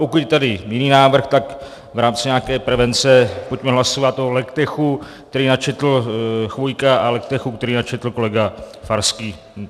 Pokud je tady jiný návrh, tak v rámci nějaké prevence pojďme hlasovat o legtechu, který načetl Chvojka, a legtechu, který načetl kolega Farský.